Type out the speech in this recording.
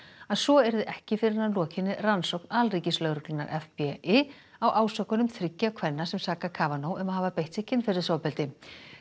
að svo yrði ekki fyrr en að lokinni rannsókn alríkislögreglunnar FBI á ásökunum þriggja kvenna sem saka um að hafa beitt sig kynferðisofbeldi